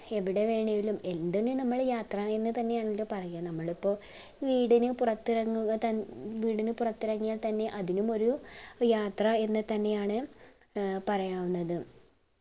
എവിടെ വേണേലും എന്തിനു നമ്മള് യാത്ര എന്ന് തന്നെയാണല്ലോ പറയ നമ്മളിപ്പോ വീടിന് പൊറത്ത് ഇറങ്ങുക തന്നെ വീടിന് പൊറത്തിറങ്ങിയാൽ അതിനുമൊരു അഹ് യാത്ര എന്നു തന്നെയാണ് ഏർ പറയാവുന്നത്